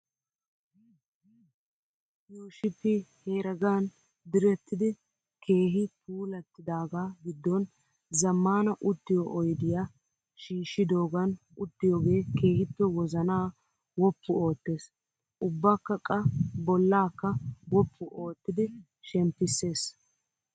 Yuushpyi heregan direttidi keehi puulattidaagaa giddon zammaana uttiyoo oyidiyaa shiishshidoogan uttiyoogee keehippe wozanaa wuppu ootes. Ubbakka qa bollaakka woppu oottidi shemppisses.